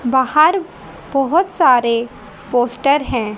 बाहर बहुत सारे पोस्टर हैं।